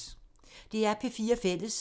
DR P4 Fælles